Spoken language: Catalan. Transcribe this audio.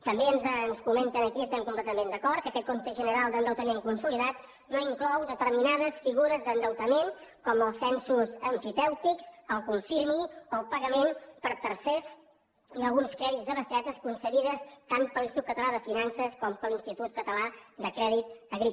també ens comenten aquí i hi estem completament d’acord que aquest compte general d’endeutament consolidat no inclou determinades figures d’endeutament com els censos emfitèutics el confirming o el pagament per tercers i alguns crèdits de bestretes concedides tant per l’institut català de finances com per l’institut català del crèdit agrari